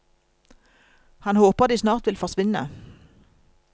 Han håper de snart vil forsvinne.